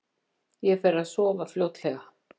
Ég fer að sofa fljótlega.